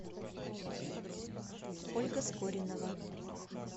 ольга скоринова